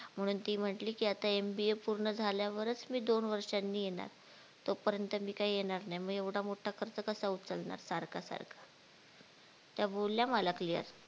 म्हणून ती म्हणली की आता MBA पूर्ण झाल्यावरच मी दोन वर्षांनी येणार तोपर्यंत मी काय येणार नाय मग एवढा मोठा खर्च कसा उचलणार सारखा सारखा त्या बोलल्या मला clear